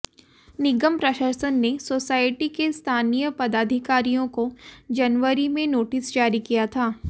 निगम प्रशासन ने सोसायटी के स्थानीय पदाधिकारियों को जनवरी में नोटिस जारी किया था